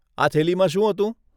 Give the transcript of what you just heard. આ થેલીમાં શું હતું?